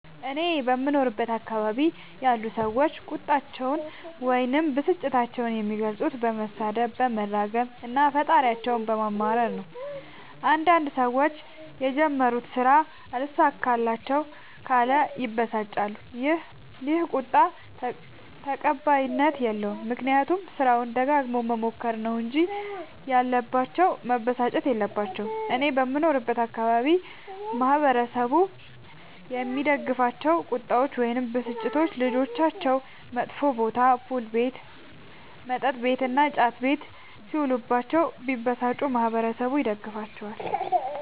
እኔ በምኖርበት አካባቢ ያሉ ሠዎች ቁጣቸዉን ወይም ብስጭታቸዉን የሚገልፁት በመሣደብ በመራገም እና ፈጣሪያቸዉን በማማረር ነዉ። አንዳንድ ሠዎች የጀመሩት ስራ አልሣካላቸዉ ካለ ይበሳጫሉ ይ። ይህ ቁጣ ተቀባይኀት የለዉም። ምክንያቱም ስራዉን ደጋግመዉ መሞከር ነዉ እንጂ ያለባቸዉ መበሳጨት የለባቸዉም። እኔ በምኖርበት አካባቢ ማህበረሰቡ የሚደግፋቸዉ ቁጣዎች ወይም ብስጭቶች ልጆቻቸዉ መጥፌ ቦታ[ፑል ቤት መጥ ቤት እና ጫት ቤት ]ሢዉሉባቸዉ ቢበሳጩ ማህበረሠቡ ይደግፋቸዋል።